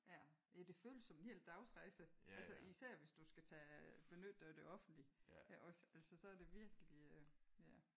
Ja det føles som en hel dagsrejse. Altså især hvis du skal tage benytte dig af det offentlige også altså så er det virkelig ja